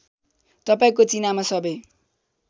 तपाईँको चिनामा सबै